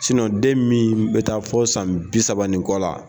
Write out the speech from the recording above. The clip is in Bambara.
den min bɛ taa fɔ san bi saba ni kɔ la.